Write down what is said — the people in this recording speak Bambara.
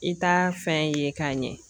I ta fɛn ye k'a ɲɛ